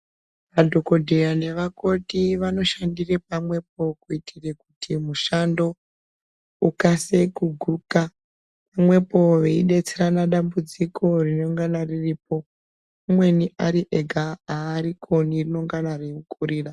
Madhokodheya nevakoti vanoshandire pamwepo kuitire kuti mushando ukasike kuguka pamwepo veibetserana dambudziko rinonga riripo umweni ari ega haarikone rinonga ramukurira.